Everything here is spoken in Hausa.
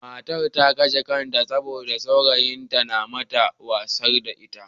Matar ta kashe kanta ne saboda saurayin nata ya watsar da ita.